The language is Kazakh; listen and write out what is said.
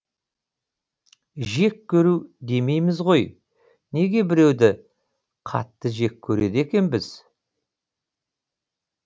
жек көру демейміз ғой неге біреуді қатты жек көреді екенбіз